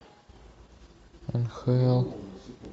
нхл